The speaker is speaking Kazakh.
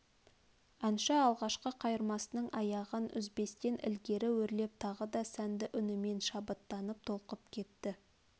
әнші алғашқы қайырмасының аяғын үзбестен ілгері өрлеп тағы да сәнді үнімен шабыттанып толқытып кетті